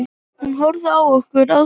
Hún horfði á okkur ráðþrota.